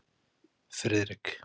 Friðrik